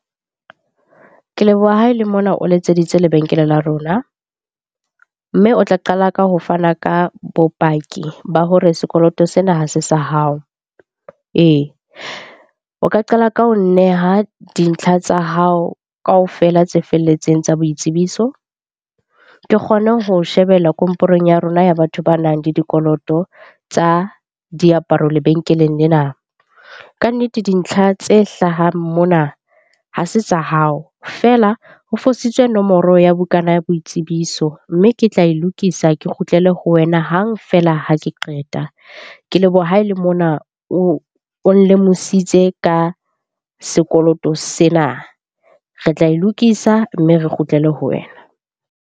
Ke leboha ha e le mona o letseditse lebenkele la rona. Mme o tla qala ka ho fana ka bopaki ba hore sekoloto sena ha se sa hao. Ee, o ka qala ka ho neha dintlha tsa hao kaofela tse felletseng tsa boitsebiso. Ke kgone ho shebella komporong ya rona ya batho banang le dikoloto tsa diaparo lebenkeleng lena. Kannete dintlha tse hlahang mona ha se tsa hao, feela ho fositswe nomoro ya bukana ya boitsebiso. Mme ke tla e lokisa, ke kgutlele ho wena hang feela ha ke qeta. Ke leboha ha e le mona o nlemohisitse ka sekoloto sena. Re tla e lokisa mme re kgutlele ho wena.